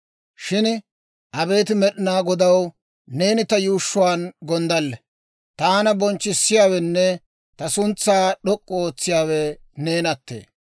Shin abeet Med'inaa Godaw, Neeni ta yuushshuwaan gonddalle. Taana bonchchissiyaawenne ta suntsaa d'ok'k'u ootsiyaawe neenattee.